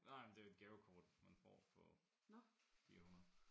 Nej men det et gavekort man får på 400